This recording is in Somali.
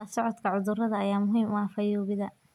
La socodka cudurrada ayaa muhiim u ah fayoobida.